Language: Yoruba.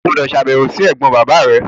O gbúdọ̀ sàbẹ̀wò si ẹ̀gbọ́n bàbá rẹ!